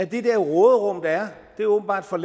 det der råderum der er er åbenbart for